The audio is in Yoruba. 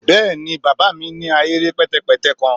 Bẹẹni baba mi ni ahere pẹtẹpẹtẹ kan